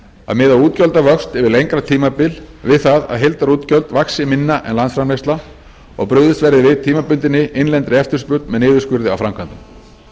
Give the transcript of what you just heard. að miða útgjaldavöxt yfir lengra tímabil við það að heildarútgjöld vaxi minna en landsframleiðsla og brugðist við tímabundinni innlendri eftirspurn með niðurskurði á framkvæmdum